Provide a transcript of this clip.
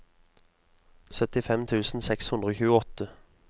syttifem tusen seks hundre og tjueåtte